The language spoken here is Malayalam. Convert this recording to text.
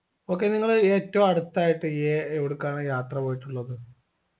okay നിങ്ങൾ ഏറ്റവും അടുത്തായിട്ട് ഏ എവടക്കാണ് യാത്ര പോയിട്ടുള്ളത്